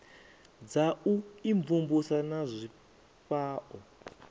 dza u imvumvusa na zwifhao